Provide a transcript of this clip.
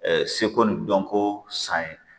seko ni dɔnko san ye